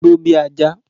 Gbó bí ajá!